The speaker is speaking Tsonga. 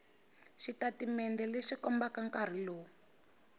xitatimende lexi kombaka nkarhi lowu